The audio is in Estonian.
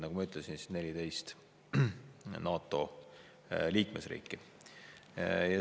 Nagu ma ütlesin, 14 NATO liikmesriiki.